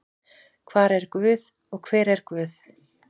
Hvar er guð og hver er guð?